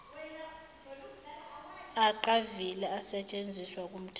aqavile asetshenziswa kumthetho